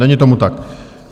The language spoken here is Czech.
Není tomu tak.